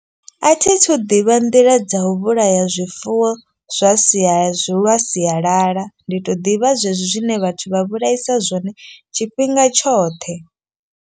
A thi thu ḓivha nḓila dza u vhulaya zwifuwo zwa sia lwa sialala. Ndi to ḓivha zwezwi zwine vhathu vha vhulaisa zwone tshifhinga tshoṱhe.